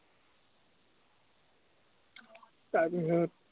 তাৰ পিছত